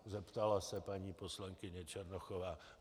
zeptala se paní poslankyně Černochová.